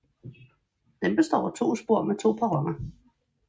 Den består af to spor med to perroner